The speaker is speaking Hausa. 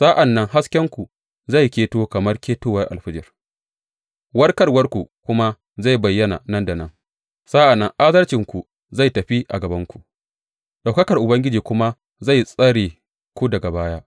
Sa’an nan haskenku zai keto kamar ketowar alfijir, warkarwarku kuma zai bayyana nan da nan; sa’an nan adalcinku zai tafi a gabanku, ɗaukakar Ubangiji kuma zai tsare ku daga baya.